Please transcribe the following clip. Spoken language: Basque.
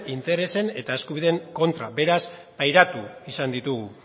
interesen eta eskubideren kontra beraz pairatu izan ditugu